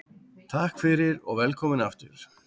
Takk fyrir og velkomin aftur.